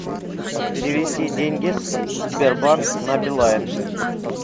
перевести деньги с сбербанк на билайн